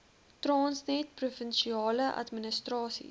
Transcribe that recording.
transnet provinsiale administrasies